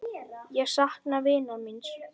Ég sakna vinar míns.